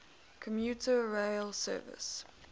commuter rail service